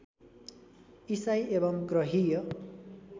ईसाई एवं ग्रहीय